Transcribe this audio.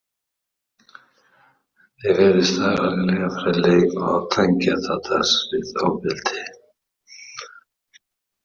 Það virtist algerlega fráleitt að tengja Tadas við ofbeldi.